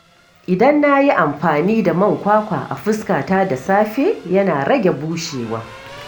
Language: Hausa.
Idan na yi amfani da man kwakwa a fuskata da safe, yana rage bushewa.